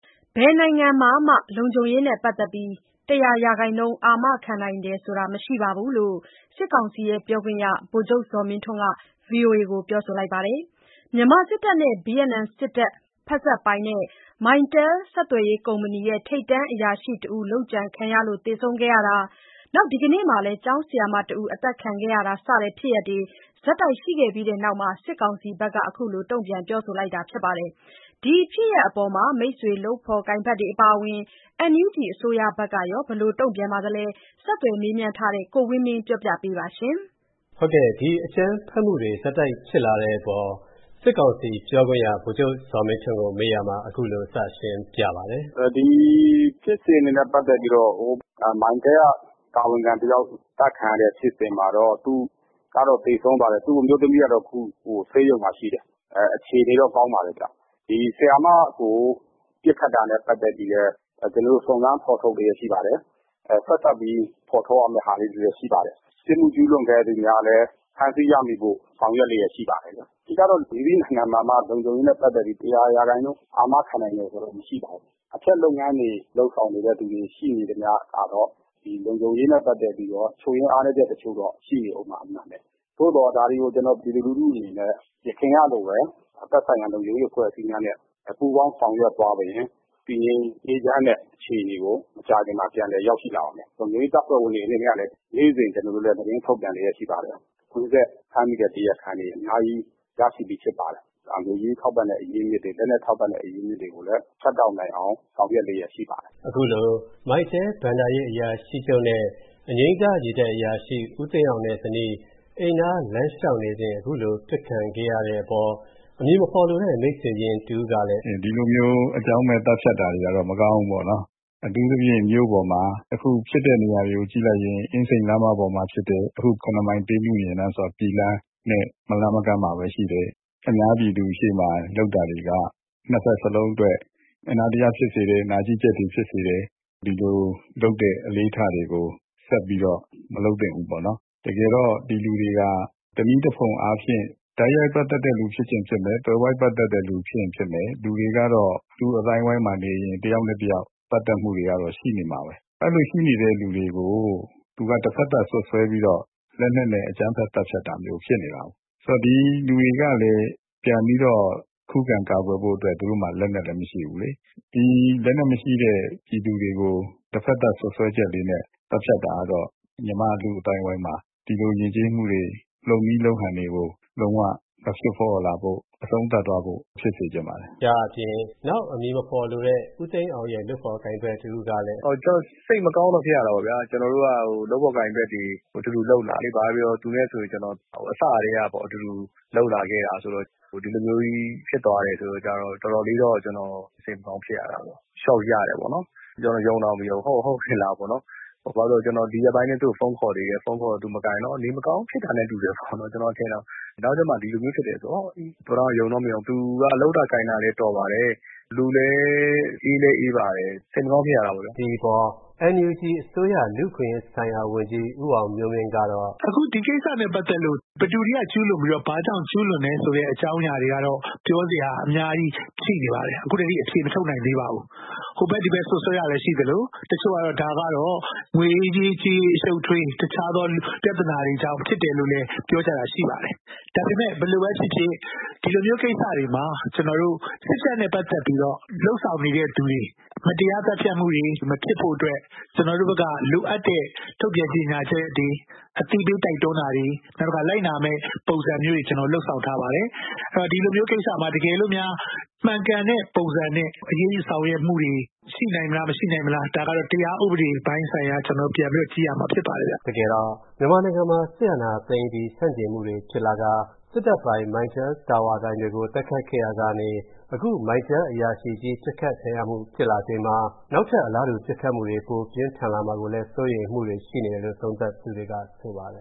ဘယ်နိုင်ငံမှာမှ လုံခြုံရေးနဲ့ပတ်သက်ပြီး ၁၀၀% အာမခံနိုင်တယ်ဆိုတာ မရှိပါဘူးလို့ စစ်ကောင်စီပြောခွင့်ရ ဗိုလ်ချုပ်ဇော်မင်းထွန်းက ဗွီအိုအေကိုပြောပါတယ်။ မြန်မာစစ်တပ်နဲ့ ဗီယက်နမ်စစ်တပ် ဖက်စပ်ပိုင် MyTel ဆက်သွယ်ရေးကုမ္ပဏီ ထိပ်တန်းအရာရှိတဦး လုပ်ကြံခံခဲ့ရလို့ သေဆုံးခဲ့တာ၊ ဒီနေ့လည်း ကျောင်းဆရာမတဦး အသတ်ခံခဲ့ရတာ စတဲ့ဖြစ်ရပ်တွေ ဆက်တိုက်ရှိခဲ့ပြီးတဲ့နောက် စစ်ကောင်စီက အခုလို တုံ့ပြန်ပြောဆိုတာပါ။ ဒီဖြစ်ရပ်တွေအပေါ် မိတ်ဆွေ လုပ်ဖော်ကိုင်ဘက်တွေအပါအဝင် NUG အစိုးရဘက်ကရော ဘယ်လိုတုံ့ပြန်ပါသလဲ... ဆက်သွယ်မေးမြန်းထားတဲ့ ကိုဝင်းမင်းက ဆက်သွယ်မေးမြန်း တင်ပြပေးထားပါတယ်။ ဒီအကြမ်းဖက်မူတွေဆက်တိုက်ဖြစ်လာတဲ့အပေါ် စစ်ကောင်စီပြောခွင့်ရ ဗိုလ်ချုပ်ဇော်မင်းထွန်းကို မေးရာမှာ အခုလိုစရှင်းပြပါတယ်။ “ဒီဖြစ်စဉ်တွေနဲ့ပတ်သက်ပြီးတော့ Mytel က တာဝန်ခံတယောက် သတ်ခံရတဲ့ဖြစ်စဉ်မှာတော့ သူကတော့ သေဆုံးသွားတယ်။ သူ့အမျိုးသမီးကတော့ အခု ဆေးရုံမှာရှိတယ်၊ အခြေအနေတော့ ကောင်းပါတယ်။ဒီ (ကျောင်း) ဆရာမကို ပစ်ခတ်တာနဲ့ပတ်သက်ပြီးလည်း ကျနော်တို့ စုံစမ်းဖော်ထုတ်လျက်ရှိပါတယ်။ဆက်စပ်ပြီးဖော်ထုတ်ရမဲ့ဟာလေးတွေလည်းရှိပါတယ်။ပြစ်မှုကျုးလွန်သူများကိုလည်း ဖမ်းဆီးရမိဖို့ ဆောင်ရွက်လျက်ရှိပါတယ်။...အဓိကတော့ မည်သည့်နိုင်ငံမှာမှ လုံခြုံရေးနဲ့ပတ်သက်ပြီး ၁၀၀ ရာခိုင်နှုန်း အာမခံနိုင် တယ်ဆိုတာတော့ မရှိပါဘူး။အဖျက်လုပ်ငန်းတွေလုပ်ဆောင်နေတဲ့သူတွေရှိနေသမျှ ကတော့ ဒီလုံခြုံရေးနဲ့ပတ်သက်ပြီးတော့ ချွတ်ယွင်းအားနည်းချက် တချို့တော့ ရှိနေဦးမှာ အမှန်ပဲ။ သို့သော် ဒါတွေကို ကျနော်တို့ ပြည်သူလူထုအနေနဲ့ ယခင်ကလိုပဲ သက်ဆိုင်ရာ လုံခြုံရေးအဖွဲ့အစည်းများနဲ့ ပူးပေါင်းဆောင်ရွက်သွားရင် တည်ငြိမ်အေးချမ်းတဲ့ အခြေအနေကို မကြာခင်မှာ ပြန်လည်ရောက်ရှိလာပါမယ်။လုံခြုံရေးတပ်ဖွဲ့ဝင်တွေအနေနဲ့ကလည်း နေ့စဉ် ကျွန်တော်တို့လည်း သတင်းထုတ်ပြန်လျှက်ရှိပါတယ်။ကွင်းဆက်ဖမ်းမိတဲ့တရာခံတွေအများကြီး ရရှိပြီးဖြစ်ပါတယ်။ ဒါ ငွေကြေးထောက်ပံ့တဲ့ အရင်းအမြစ်တွေ၊လက်နက်ထောက်ပံ့တဲ့ အရင်းအမြစ်တွေကိုလည်း ဖြတ်တောက်နိုင်အောင် ဆောင်ရွက် လျှက်ရှိပါတယ်။” အခုလို Mytel ဘဏ္ဍာရေးအရာရှိချုပ်နဲ့ အငြိမ်းစားရေတပ်အရာရှိ ဦးသိန်းအောင်နဲ့ဇနီးတို့ အိမ်နား လမ်းလျှောက်နေစဉ် အခုလို အပစ်ခံခဲ့ရတဲ့အပေါ် အမည်မဖော်လိုတဲ့ မိတ်ဆွေရင်း တဦးကလည်း အခုလို ပြောပါတယ်။ “ဒီလိုမျိုး အကြောင်းမဲ့ သတ်ဖြတ်တာတွေကတော့ မကောင်းဘူးပေါ့နော်။အထူးသဖြင့် မြို့ပေါ်မှာ အခုဖြစ်တဲ့နေရာတွေကို ကြည့်လိုက်ရင် (ရန်ကုန်) အင်းစိန်လမ်းမပေါ်မှာ ဖြစ်တယ်၊ အခု ၇ မိုင် တေးနုယဉ်လမ်းဆိုတာ ပြည်လမ်းနဲ့ မလှမ်းမကမ်းမှာပဲရှိတယ်။အများပြည်သူရှေ့မှာ လုပ်တာတွေက ၂ ဘက်စလုံးအတွက် အနာတရဖြစ်စေတယ်၊ နာကျည်းချက်တွေဖြစ်စေတယ်။ ဒီလိုလုပ်တဲ့ အလေ့အထတွေကို ဆက်ပြီးတော့ မလုပ် သင့်ဘူးပေါ့နော်။တကယ်တော့ ဒီလူတွေဟာ တနည်းတဖုံအားဖြင့် တိုက်ရိုက်ပတ်သက်တဲ့လူဖြစ်ချင်ဖြစ်မယ် သွယ်ဝိုက်ပတ်သက်တဲ့လူ ဖြစ်ရင်ဖြစ်မယ်။ လူတွေကတော့ လူ့အသိုင်းအဝိုင်းမှာနေရင် တယောက်နဲ့တယောက် ပတ်သက်မှုတွေကတော့ရှိနေမှာပဲ၊အဲ့လိုရှိနေတဲ့လူတွေကို သူက တဘက်သတ်စွပ်စွဲပြီးတော့ လက်နက်နဲ့အကြမ်းဖက်သတ်ဖြတ်တာမျိုး ဖြစ်နေတာပေါ့။ဒီလူတွေကလည်း ပြန်ပြီးတော့ ခုခံကာကွယ်ဖို့အတွက် သူတို့မှာ လက်နက်လည်း မရှိဘူးလေ။ ဒီလက်နက်မရှိတဲ့ပြည်သူတွေကို တဘက်သတ်စွပ်စွဲချက်လေးနဲ့ သတ်ဖြတ်တာကတော့ မြန်မာ့ လူ့အသိုင်းအဝိုင်းမှာ ဒီလိုယဉ်ကျေးမူတွေ၊ လုပ်နည်းလုပ်ဟန်တွေကို လုံးဝမဖြစ်ပေါ်လာဖို့ အဆုံးသတ်သွားဖို့ ဖြစ်စေချင်ပါတယ်။” ဒါ့အပြင် နောက် အမည်မဖော်လိုတဲ့ ဦးသိန်းအောင်ရဲ့ လုပ်ဖော်ကိုင်ဘက်တဦးကလည်း အခုလို ပြောပါတယ်။ “စိတ်မကောင်းတော့ ဖြစ်ရတာပေါ့ဗျာ၊ ကျနော်တို့က လုပ်ဖော်ကိုင်ဘက်တွေ၊ အတူတူလုပ်လာတာလေ၊ ဘာပဲပြောပြော သူနဲ့ဆို ကျနော်ကအစကတည်းကပေါ့ အတူတူ လုပ်လာခဲ့တာဆိုတော့ ဒီလိုမျိုးကြီးဖြစ်သွားတယ်ဆိုတဲ့ကျတော့ တော်တော်လေးတော့စိတ်မကောင်းဖြစ်ရတာပေါ့၊ Shock ရတာပေါ့နော်။ ယုံတောင်မယုံဘူး။ ဟုတ်ကော ဟုတ်ကဲ့လားပေါ့နော်။ ဘာလို့လဲဆိုတော့ ဒီရက်ပိုင်းအတွင်း ကျနော် သူ့ကိုဖုန်းခေါ်သေးတယ်။ဖုန်းခေါ်တော့ သူမကိုင်တော့ နေမကောင်းဖြစ်တာနဲ့ တူပါတယ်ပေါ့နော၊် ကျနော် ထင်တာ။နောက်ကျမှ ဒီလိုမျိုးဖြစ်တယ်ဆိုတော့... အော် အေး ပထမ ယုံတောင်မယုံဘူး။ သူက လုပ်တာကိုင်တာလည်း တော်ပါတယ်။ လူလည်း အေးလည်းအေးပါတယ်။စိတ်မကောင်းဖြစ်ရတာပေါ့ဗျာ။” ဒီအပေါ် NUG အစိုးရ လူ့အခွင့်ရေးဆိုင်ရာဝန်ကြီး ဦးအောင်မျိုးမင်းကတော့ အခုလို ပြောပါတယ်။ "အခုဒီကိစ္စနဲ့ပတ်သက်လို့ ဘယ်သူတွေက ကျုးလွန်ပြီးတော့ ဘာကြောင့် ကျုးလွန်တယ် ဆိုတဲ့ အကြောင်းအရာတွေကတော့ ပြောစရာအများကြီးရှိနေပါတယ်။ အခုထက်ထိ အဖြေမထုတ်နိုင်သေးပါဘူး။ ဟိုဘက် ဒီဘက် စွက်စွဲတာလည်းရှိသလို တချို့ကတော့ ဒါက ငွေရေးကြေးရေး အရှုပ်အထွေး တခြားသော ပြဿနာတွေကြောင့် ဖြစ်တယ်လို့လည်း ပြောကြတာတွေလည်း ရှိပါတယ်။ဒါပေမဲ့ဘယ်လိုပဲဖြစ်ဖြစ် ဒီလိုမျိုးကိစ္စတွေမှာ စစ်တပ်နဲ့ပတ်သက်ပြီးလုပ်ဆောင်နေတဲ့သူတွေ၊ မတရားသတ်ဖြတ်မူတွေမဖြစ်ဖို့အတွက် ကျနော်တို့ဘက်က လိုအပ်တဲ့ ထုတ်ပြန်ကြေညာချက်တွေ၊ အသိပေးတိုက်တွန်းတာတွေ၊ နောက်တခါ လိုက်နာရမဲ့ ပုံစံမျိုးတွေ လုပ်ဆောင်ထားပါတယ်။ အဲ့ဒိတော့ ဒီလိုမျိုးကိစ္စမှာ တကယ်လို့များ မှန်ကန်တဲ့ ပုံစံနဲ့ အရေးယူဆောင်ရွက်မူတွေ ရှိနိုင်မလား မရှိနိုင်မလား ဒါကတော့ တရားဥပဒေပိုင်းဆိုင်ရာ ကျနော်တို့ ပြန်ပြီးတော့ ကြည့်ရမှာ ဖြစ်ပါတယ်။" တကယ်တော့ မြန်မာနိုင်ငံမှာ စစ်အာဏာသိမ်းအပြီး ဆန့်ကျင်မှုတွေဖြစ်လာကာ၊ စစ်တပ် ဖက်စပ်ပိုင် Mytel တာဝါတိုင်တွေကို တိုက်ခိုက်ခဲ့ရာကနေ အခု Mytel အရာရှိကြီး ပစ်ခံရမူဖြစ်လာချိန်မှာ နောက်ထပ် အလားတူပစ်ခတ်မှုတွေ ပိုပြင်းထန်လာမှာကိုလည်း စိုးရိမ်မှုတွေရှိနေတယ်လို့ သုံးသပ်သူတွေက ဆိုပါတယ